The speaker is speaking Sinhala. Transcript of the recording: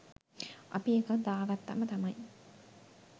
අපි එකක් දාගත්තාම තමයි